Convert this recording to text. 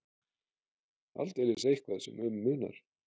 Aldeilis eitthvað sem um munar.